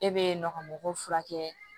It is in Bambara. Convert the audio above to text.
E be yen nɔ ka mɔgɔw furakɛ